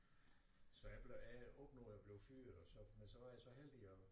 Så jeg blev jeg opnåede at blive fyret og så men så var jeg så heldig at